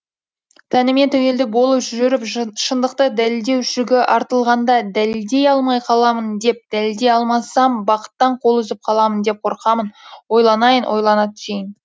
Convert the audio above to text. тәніме тәуелді болып жүріп шындықты дәлелдеу жүгі артылғанда дәлелдей алмай қаламын деп дәлелдей алмасам бақыттан қол үзіп қаламын деп қорқамын ойланайын ойлана түсейін